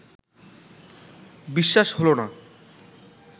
বিশ্বাস হলো না